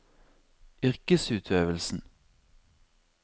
yrkesutøvelsen